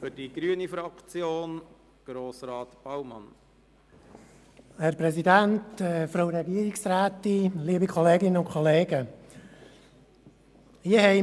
Es handelt sich um